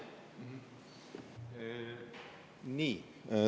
Nii.